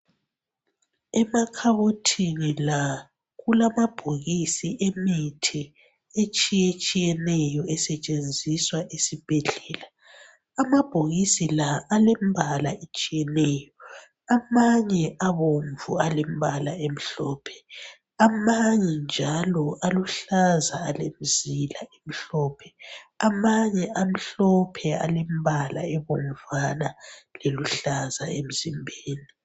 Emakhabothini la, kulamabhokisi emithi etshiyetshiyeneyo esentshenziswa esibhedlela. Amabhokisi la alembala alembala etshiyeneyo, amanye abomvu alembala emhlophe, amanye njalo aluhlaza alemizila emhlophe, amanye amhlophe alembala ebomvana leluhlaza emzimbeni.